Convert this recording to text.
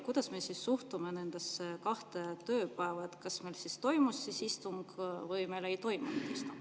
Kuidas me suhtume nendesse kahte tööpäeva: kas meil toimus istung või meil ei toimunud istungit?